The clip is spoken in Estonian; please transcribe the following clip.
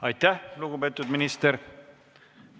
Aitäh, lugupeetud minister!